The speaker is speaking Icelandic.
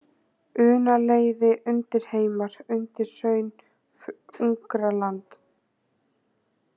Unaleiði, Undirheimar, Undirhraun, Ungaraland